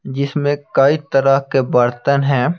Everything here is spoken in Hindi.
जिसमें कई तरह के बर्तन हैं।